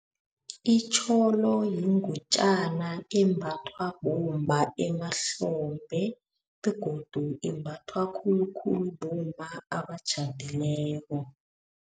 Itjholo yingutjana embathwa bomma emahlombe, begodu imbathwa khulukhulu bomma abatjhadileko.